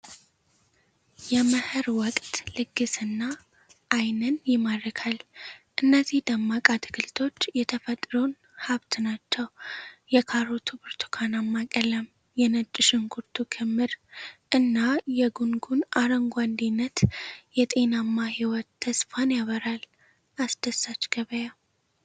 የመኸር ወቅት ልግስና ዓይንን ይማርካል! እነዚህ ደማቅ አትክልቶች የተፈጥሮን ሀብት ናቸው። የካሮቱ ብርቱካናማ ቀለም፣ የነጭ ሽንኩርቱ ክምር እና የጉንጉኑ አረንጓዴነት የጤናማ ሕይወት ተስፋን ያበስራል። አስደሳች ገበያ!